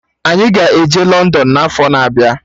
Anyị ga-eje London n'afọ na abịa